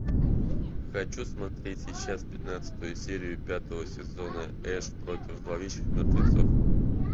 хочу смотреть сейчас пятнадцатую серию пятого сезона эш против зловещих мертвецов